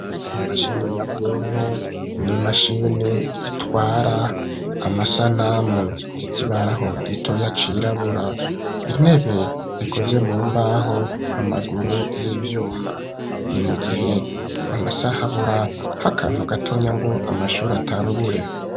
Imashini nyabwonko, n'imashini itwara amasanamu; ikibaho gitoya cirabura; intebe ikoze mu mbaho, amaguru y'ivyuma; ni mu gihe amasaha, abura akantu gatonya, ngo amashure atangure.